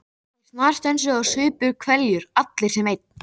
Þeir snarstönsuðu og supu hveljur, allir sem einn.